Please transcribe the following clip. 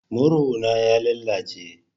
Murhu na ya lalace.